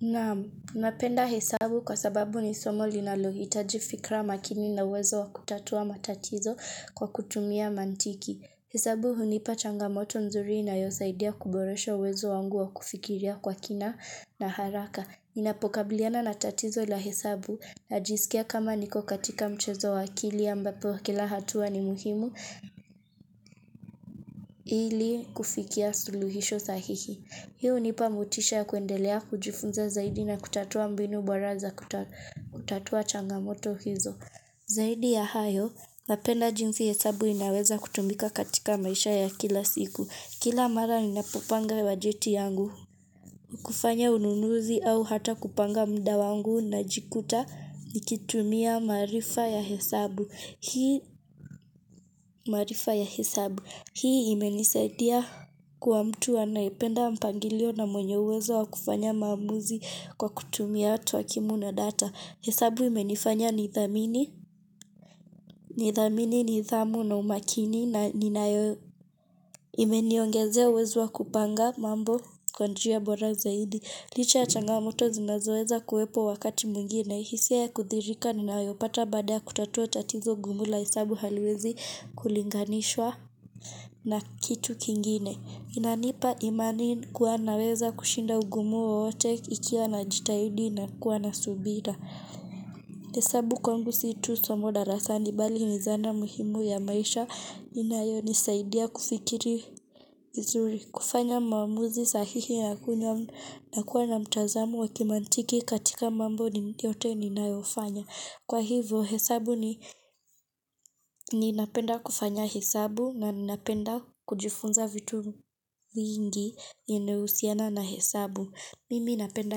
Naam, napenda hesabu kwa sababu ni somo linalohitaji fikra makini na uwezo wa kutatua matatizo kwa kutumia mantiki. Hesabu hunipa changamoto nzuri inayosaidia kuboresha uwezo wangu wa kufikiria kwa kina na haraka. Ninapokabiliana na tatizo la hesabu najisikia kama niko katika mchezo wa akili ambapo kila hatua ni muhimu ili kufikia suluhisho sahihi. Hii hunipa motisha ya kuendelea kujifunza zaidi na kutatua mbinu bora za kutatua changamoto hizo. Zaidi ya hayo, napenda jinsi hesabu inaweza kutumika katika maisha ya kila siku. Kila mara ninapopanga bajeti yangu. Kufanya ununuzi au hata kupanga muda wangu najikuta nikitumia maarifa ya hesabu. Hii marifa ya hesabu. Hii imenisaidia kuwa mtu anayependa mpangilio na mwenye uwezo wa kufanya maamuzi kwa kutumia twakimu na data. Hesabu imenifanya nithamini. Nithamini nidhamu na umakini na ninayo, imeniongezea uwezo wa kupanga mambo kwa njia bora zaidi. Licha ya changamoto zinazoweza kuwepo wakati mwingine. Hisia ya kuthirika ninayopata baada ya kutatua tatizo gumu la hesabu haliwezi kulinganishwa na kitu kingine. Inanipa imani kuwa naweza kushinda ugumu wowote ikiwa najitahidi na kuwa na subira. Hesabu kwangu si tu somo darasani bali ni zana muhimu ya maisha inayonisaidia kufikiri vizuri. Kufanya mamuuzi sahihi ya kunyamu na kuwa na mtazamu wakimantiki katika mambo yote ninayofanya. Kwa hivo hesabu ninapenda kufanya hesabu na ninapenda kujifunza vitu vingi yenye inahusiana na hesabu. Mimi ninapenda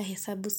hesabu.